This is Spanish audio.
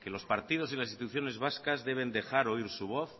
que los partidos y las instituciones vascas deben dejar oír su voz